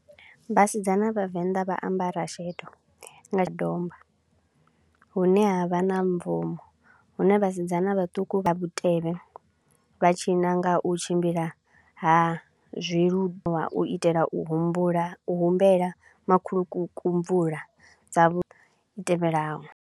Vhasidzana vha Venḓa vha ambara sheḓo nga domba, hune ha vha na mbvumo, hune vhasidzana vhaṱuku vha vhutevhe vha tshina nga u tshimbila ha u itela u humbula u humbela makhulukuku mvula dza vhu zwitevhelaho.